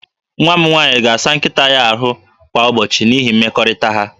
Nwa m nwaanyị ga-asa nkịta ya ahụ kwa ụbọchị n'ihi mmekọrịta ha